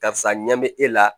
Karisa ɲɛ bɛ e la